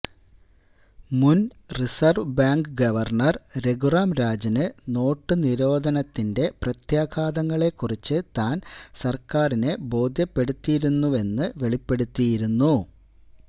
മുന് reserve bank governor Raghuram Rajan നോട്ടുനിരോധനത്തിന്റെ പ്രത്യാഘാതങ്ങളെ കുറിച്ച് താന് സര്ക്കാറിനെ ബോധ്യപ്പെടുത്തിയിരുന്നുവെന്ന് വെളിപ്പെടുത്തിയിരുന്നു